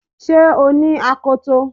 Ṣé o ní akoto